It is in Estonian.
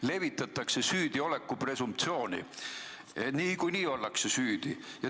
Levitatakse süüdioleku presumptsiooni, niikuinii ollakse süüdi.